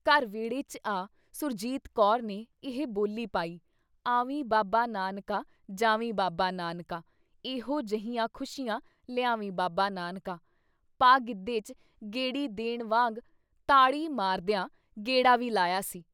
ਘਰ ਵਿਹੜੇ 'ਚ ਆ ਸੁਰਜੀਤ ਕੌਰ ਨੇ ਇਹ ਬੋਲੀ ਪਾਈ "ਆਵੀਂ ਬਾਬਾ ਨਾਨਕਾ ! ਜਾਵੀਂ ਬਾਬਾ ਨਾਨਕਾ! ਐਹੋ ਜਿਹੀਆਂ ਖੁਸ਼ੀਆਂ ਲਿਆਵੀਂ ਬਾਬਾ ਨਾਨਕਾ!" ਪਾ ਗਿੱਧੇ 'ਚ ਗੇੜੀ ਦੇਣ ਵਾਂਗ ਤਾੜੀ ਮਾਰਦਿਆਂ ਗੇੜਾ ਵੀ ਲਾਇਆ ਸੀ ।